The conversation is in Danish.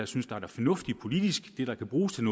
synes er det fornuftige politisk det der kan bruges til